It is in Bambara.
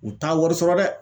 U t'a wɔri sɔrɔ dɛ.